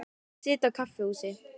Ég sit á kaffihúsi.